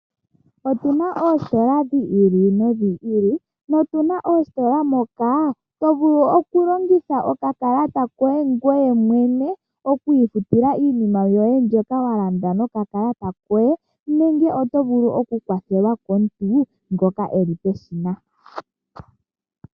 Otuna oositola dhi ili nodhi ili, nutuna oositola moka tovulu okulongitha okakalata koye ngwee mwene okwiifutila iinima yoye mbyoka walandela ngwee mwene nenge otovulu okukwathelwa komuntu ngoka eli peshina .